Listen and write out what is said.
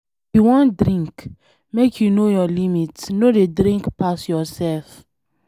If you wan drink, make you know your limit. No dey drink pass yourself.